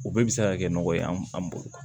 O bɛɛ bɛ se ka kɛ nɔgɔ ye an bolo